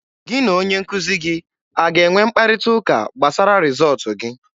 Gị na onye nkuzi gị a ga-enwe mkparịta ụka gbasara rịzọọtụ gị?